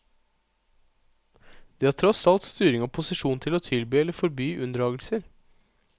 De har tross alt styring og posisjon til å tilby eller forby unndragelser.